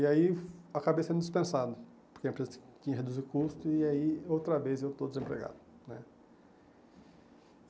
E aí acabei sendo dispensado, porque a empresa tinha que reduzir o custo e aí outra vez eu estou desempregado né.